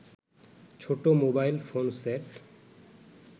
ছোট mobile phone set